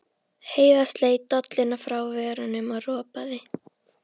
Heiða sleit dolluna frá vörunum og ropaði.